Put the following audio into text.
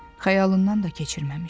Xəyalından da keçirməmişdi.